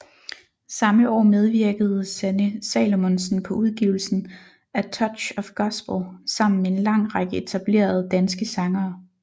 Samme år medvirkede Sanne Salomonsen på udgivelsen A Touch of Gospel sammen med en lang række etablerede danske sangere